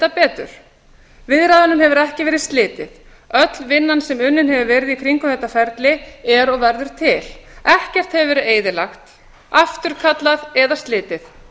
betur viðræðunum hefur ekki verið slitið öll vinnan sem unnin hefur verið í kringum þetta ferli er og verður til ekkert hefur verið eyðilagt eða afturkallað og engu slitið